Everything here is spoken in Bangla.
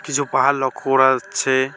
কিছু পাহাড় লক্ষ করা যাচ্ছে।